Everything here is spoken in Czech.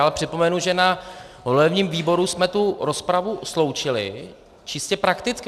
Ale připomenu, že na volebním výboru jsme tu rozpravu sloučili čistě prakticky.